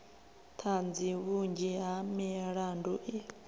ṱhanzi vhunzhi ha milandu i